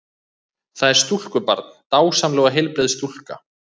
Það er stúlkubarn, dásamleg og heilbrigð stúlka.